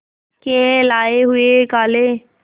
के लाए हुए काले